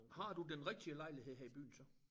Har du den rigtige lejlighed her i byen så